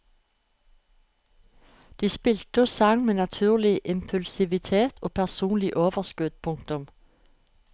De spilte og sang med naturlig impulsivitet og personlig overskudd. punktum